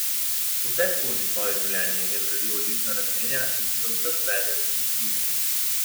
Vseskozi svoje življenje je zgradil odlična razmerja in se do vseh vede spoštljivo.